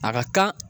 A ka kan